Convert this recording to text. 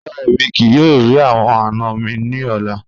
Rara, emi kii yoo ri awọn ana mi ni ọla